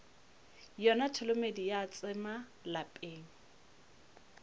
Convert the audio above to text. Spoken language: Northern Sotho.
yona tholomedi ya tsema lapeng